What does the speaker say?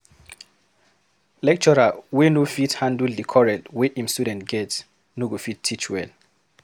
Lecturer wey no fit handle di quarrel wey im student get no go fit teach well.